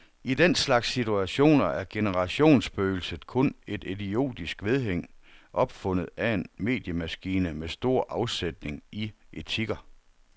I den slags situationer er generationsspøgelset kun et idiotisk vedhæng, opfundet af en mediemaskine med stor afsætning i etiketter.